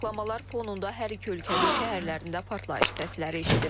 Açıqlamalar fonunda hər iki ölkənin şəhərlərində partlayış səsləri eşidilir.